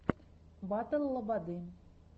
батл лободы